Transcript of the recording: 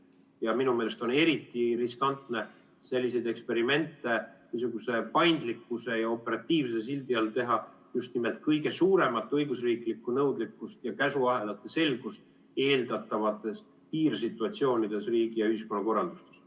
Ja minu meelest on eriti riskantne selliseid eksperimente niisuguse paindlikkuse ja operatiivsuse sildi all teha just nimelt kõige suuremat õigusriiklikku nõudlikkust ja käsuahelate selgust eeldavates piirsituatsioonides riigi- ja ühiskonnakorralduses.